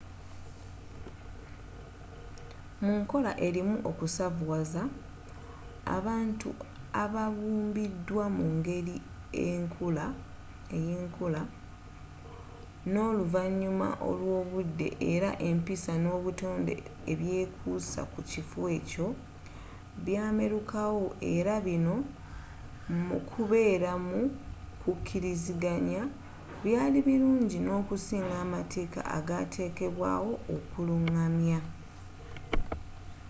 mu nkola erimu okusavuwaza abantu ababumbiddwa mu ngeri y'enkula n'oluvanyuma lw'obudde era empisa n'obutonde ebyekuusa ku kifo ekyo byamerukawo era bino mu kubeera mu kukkiriziganya byali birungi n'okusinga amateeka agatekebwawo okulungamya